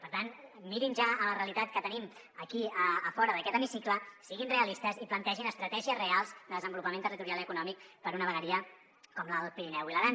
per tant mirin ja la realitat que tenim aquí a fora d’aquest hemicicle siguin realistes i plantegin estratègies reals de desenvolupament territorial i econòmic per a una vegueria com l’alt pirineu i l’aran